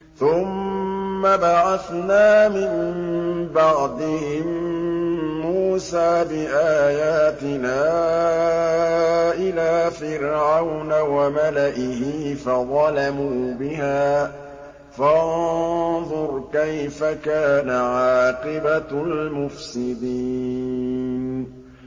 ثُمَّ بَعَثْنَا مِن بَعْدِهِم مُّوسَىٰ بِآيَاتِنَا إِلَىٰ فِرْعَوْنَ وَمَلَئِهِ فَظَلَمُوا بِهَا ۖ فَانظُرْ كَيْفَ كَانَ عَاقِبَةُ الْمُفْسِدِينَ